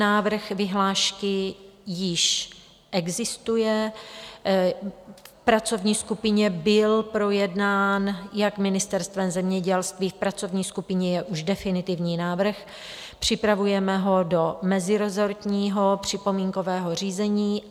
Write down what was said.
Návrh vyhlášky již existuje, v pracovní skupině byl projednán jak Ministerstvem zemědělství, v pracovní skupině je už definitivní návrh, připravujeme ho do mezirezortního připomínkového řízení.